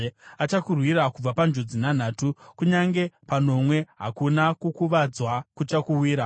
Achakurwira kubva panjodzi nhanhatu; kunyange panomwe hakuna kukuvadzwa kuchakuwira.